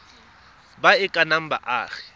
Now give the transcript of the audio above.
ba e ka nnang baagi